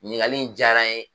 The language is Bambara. Ɲinikali in diyara n ye.